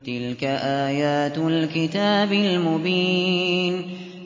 تِلْكَ آيَاتُ الْكِتَابِ الْمُبِينِ